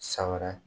San wɛrɛ